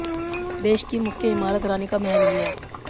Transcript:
देश की मुख्य इमारत रानी का महल ही है